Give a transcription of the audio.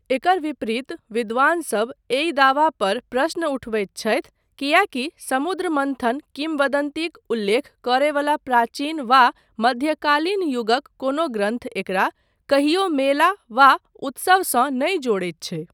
एकर विपरीत विद्वानसब एहि दावा पर प्रश्न उठबैत छथि, किएकी समुद्र मन्थन किंवदन्तीक उल्लेख करय वला प्राचीन वा मध्यकालीन युगक कोनो ग्रन्थ एकरा कहियो मेला वा उत्सव सँ नहि जोड़ैत छै।